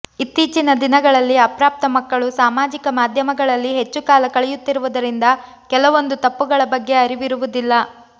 ಇತ್ತೀಚಿನ ದಿನಗಳಲ್ಲಿ ಅಪ್ರಾಪ್ತ ಮಕ್ಕಳು ಸಾಮಾಜಿಕ ಮಾಧ್ಯಮಗಳಲ್ಲಿ ಹೆಚ್ಚು ಕಾಲ ಕಳೆಯುತ್ತಿರುವುದರಿಂದ ಕೆಲವೊಂದು ತಪ್ಪುಗಳ ಬಗ್ಗೆ ಅರಿವಿರುವುದಿಲ್ಲ